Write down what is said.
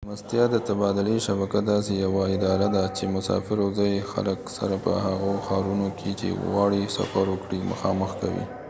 د میلمستیا د تبادلې شبکه داسې یوه اداره ده چې مسافر او ځایي خلک سره په هغو ښارونو کې چې غواړي سفر وکړي مخامخ کوي